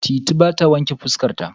Titi ba ta wanƙe fuska ta.